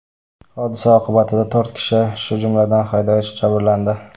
Hodisa oqibatida to‘rt kishi, shu jumladan haydovchi jabrlandi.